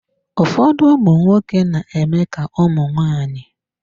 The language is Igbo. Ụfọdụ ụmụnwoke na-eme ka ụmụ nwaanyị.